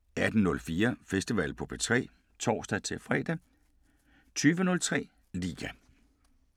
18:04: Festival på P3 (tor-fre) 20:03: Liga